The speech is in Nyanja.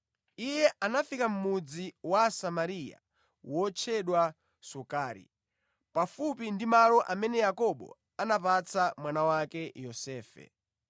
Iye anafika mʼmudzi wa Asamariya wotchedwa Sukari, pafupi ndi malo amene Yakobo anapatsa mwana wake Yosefe.